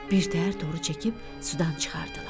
Birtəhər toru çəkib sudan çıxardılar.